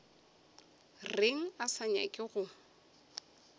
reng a sa nyake go